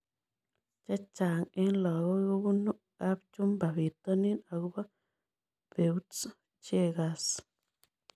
Chechang' eng' lokoi kopunu apchumba pitonin akopo Peutz Jaghers